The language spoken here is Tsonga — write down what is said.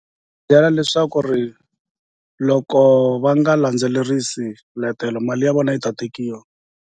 Byela leswaku ri loko va nga landzelerisi swiletelo mali ya vona yi ta tekiwa.